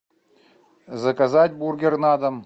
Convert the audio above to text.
заказать бургер на дом